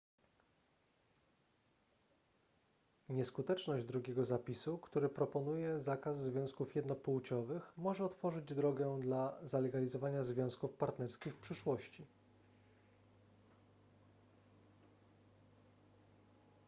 nieskuteczność drugiego zapisu który proponuje zakaz związków jednopłciowych może otworzyć drogę dla zalegalizowania związków partnerskich w przyszłości